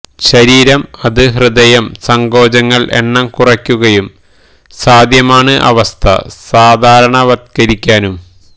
ശരീരം അത് ഹൃദയം സങ്കോചങ്ങൾ എണ്ണം കുറയ്ക്കുകയും സാധ്യമാണ് അവസ്ഥ സാധാരണവത്കരിക്കാനും